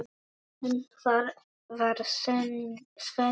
En hvar var Svenni?